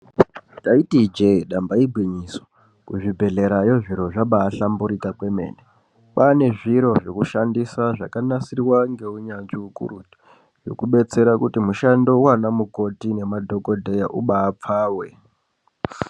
Taiti ijee damba igwinyiso kuzvi bhedhlerayo zviro zvabaa hlamburika kwemene. Kwane zviro zvekushandisa zvakanasirwa ngeunyanzvi ukurutu zvekubetsera kuti mushando waana mukoti nema dhokodheya uba apfawe.